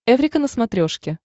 эврика на смотрешке